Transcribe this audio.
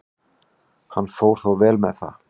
Hann fór þó vel með það.